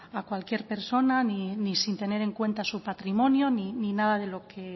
a cualquier persona ni sin tener en cuenta su patrimonio ni nada de lo que